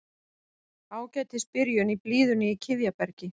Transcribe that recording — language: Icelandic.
Ágætis byrjun í blíðunni í Kiðjabergi